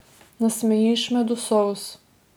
Nasmejiš me do solz.